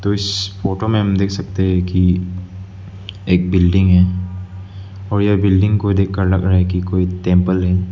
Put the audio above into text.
इस फोटो में हम देख सकते हैं कि एक बिल्डिंग है और यह बिल्डिंग को देखकर लग रहा है कि कोई टेंपल है।